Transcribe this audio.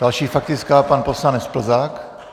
Další faktická, pan poslanec Plzák.